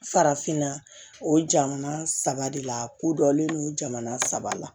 Farafinna o jamana saba de la ko dɔlen non jamana saba la